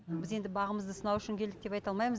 біз енді бағымызды сынау үшін келдік деп айта алмаймыз